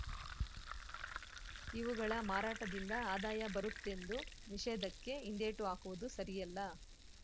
ಇವುಗಳ ಮಾರಾಟದಿಂದ ಆದಾಯ ಬರುತ್ತೆಂದು ನಿಷೇಧಕ್ಕೆ ಹಿಂದೇಟು ಹಾಕುವುದು ಸರಿಯಲ್ಲ